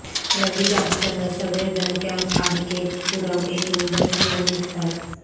रविदाससह सगळे जण camp RK Puram येथून बस घेऊन निघतात